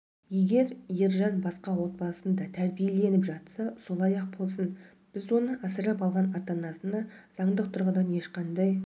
егер ержан басқа отбасында тәрбиеленіп жатса солай-ақ болсын біз оны асырап алған ата-анасына заңдық тұрғыдан ешқандай